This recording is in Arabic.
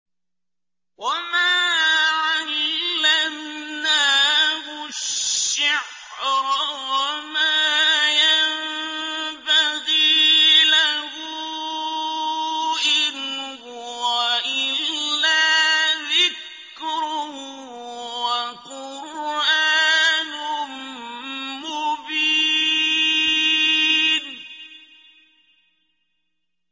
وَمَا عَلَّمْنَاهُ الشِّعْرَ وَمَا يَنبَغِي لَهُ ۚ إِنْ هُوَ إِلَّا ذِكْرٌ وَقُرْآنٌ مُّبِينٌ